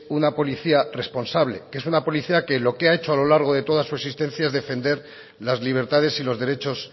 una policía responsable que es una policía que lo que ha hecho a lo largo de toda su existencia es defender las libertades y los derechos